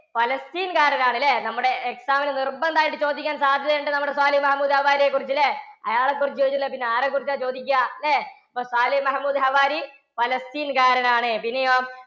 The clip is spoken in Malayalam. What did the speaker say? പലസ്തീൻ കാരനാണ് ഇല്ലേ? നമ്മുടെ exam ന് നിർബന്ധം ആയിട്ട് ചോദിക്കാൻ സാധ്യതയുണ്ടെന്ന് നമ്മുടെ സാലിഹ് മഹമൂദ് ഹവാരിയെക്കുറിച്ച് അല്ലെ? അയാളെക്കുറിച്ച് ചോദിച്ചില്ലെങ്കിൽ പിന്നെ ആരെക്കുറിച്ചാ ചോദിക്കുക? അല്ലേ? അപ്പോൾ സാലിഹ് മുഹമ്മദ് ഹവാരി പലസ്തീൻ കാരനാണ്. പിന്നെയോ